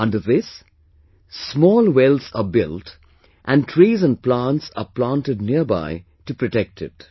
Under this, small wells are built and trees and plants are planted nearby to protect it